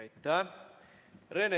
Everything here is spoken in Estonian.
Aitäh!